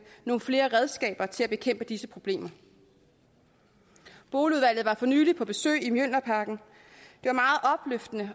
nogle flere redskaber til at bekæmpe disse problemer boligudvalget var for nylig på besøg i mjølnerparken